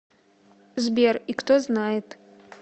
сбер и кто знает